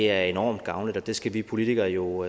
er enormt gavnligt og det engagement skal vi politikere jo